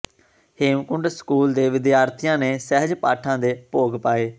Hemkunt school ਦੇ ਵਿਦਿਆਰਥੀਆਂ ਨੇ ਸਹਿਜ ਪਾਠਾਂ ਦੇ ਭੋਗ ਪਾਏ